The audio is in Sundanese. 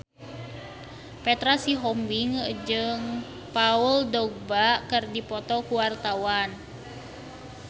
Petra Sihombing jeung Paul Dogba keur dipoto ku wartawan